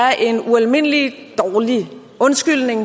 er en ualmindelig dårlig undskyldning